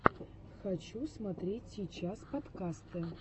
хочу смотреть сейчас подкасты